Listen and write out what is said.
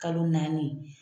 Kalo naani